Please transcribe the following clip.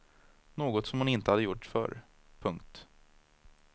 Något som hon inte hade gjort förr. punkt